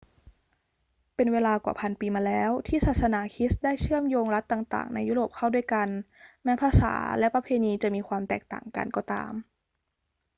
เป็นเวลากว่าพันปีมาแล้วที่ศาสนาคริสต์ได้เชื่อมโยงรัฐต่าง ๆ ในยุโรปเข้าด้วยกัน แม้ภาษาและประเพณีจะมีความแตกต่างกันก็ตาม